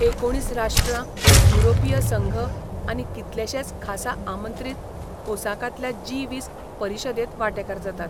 एकुणीस राष्ट्रां, युरोपीय संघ आनी कितलेशेच खासा आमंत्रीत ओसाकांतल्या जी वीस परिशदेंत वांटेकार जातात.